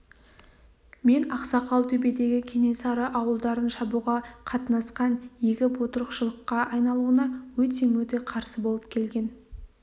мен ақсақал төбедегі кенесары ауылдарын шабуға қатынасқан егіп отырықшылыққа айналуына өте-мөте қарсы болып келген